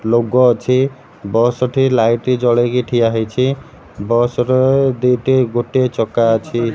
ଲୋଗ ଅଛି ବସ୍ ଟିଏ ଲାଇଟ୍ ଜଳେଇକି ଠିଆ ହେଇଛି ବସ୍ ର ଦିଟି ଗୋଟିଏ ଚକା ଅଛି।